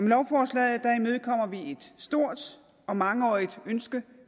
lovforslaget imødekommer vi et stort og mangeårigt ønske